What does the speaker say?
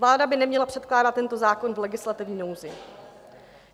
Vláda by neměla předkládat tento zákon v legislativní nouzi.